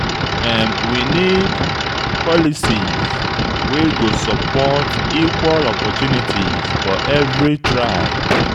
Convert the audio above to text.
We need policies wey go support equal opportunities for every tribe.